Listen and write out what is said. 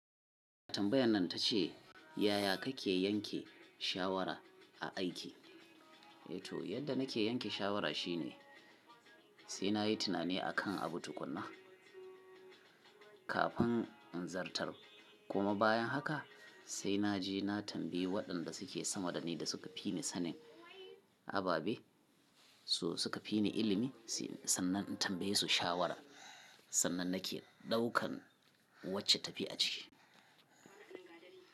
Tambayan nan ta ce, yaya kake yanke shawara a aiki? Yato yadda nake yanke shawara shine sai nayi tunani akan abu tukuna, kafin in zartar. Kuma bayan haka sai naje na tambayi waɗanda suke sama dani da suka fi ni sanin ababe su suka fi ni ilimi sannan in tambaye su shawara. Sannan nake ɗaukan wacce tafi a ciki.